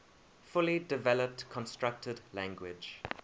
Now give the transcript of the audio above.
fully developed constructed language